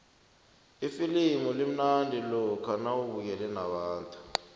ifilimu limnandi lokha nawubukele nabantu